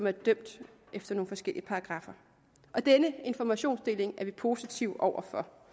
er dømt efter nogle forskellige paragraffer denne informationsdeling er vi positive over for